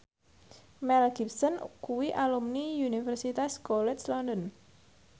Mel Gibson kuwi alumni Universitas College London